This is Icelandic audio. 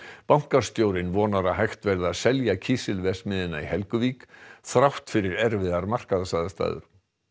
bankastjórinn vonar að hægt verði að selja kísilverksmiðjuna í Helguvík þrátt fyrir erfiðar markaðsaðstæður